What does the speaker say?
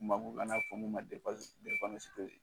fɔ mun ma